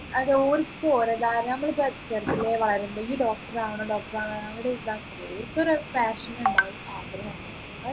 അത് ഓരിക്ക് ഓരത്തായ നമ്മൾ ഇപ്പൊ ചെറുതിലെ വളരുമ്പോ ഈ doctor ആവണം doctor ആവണം ഒരിതകില്ലേ ഓർക്കൊരു passion ഉണ്ടാവും ആഗ്രഹമുണ്ടാകും